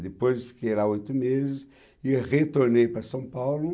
Depois fiquei lá oito meses e retornei para São Paulo.